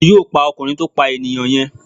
Wọ́n yóò pa ọkùnrin tó pà enìyàn yen